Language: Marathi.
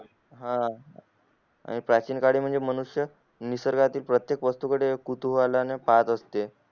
हा प्राचीन काली म्हणजे मनुष्य निसर्गातील प्रत्येक वस्तू कडे कुतूहलाने पाहत असते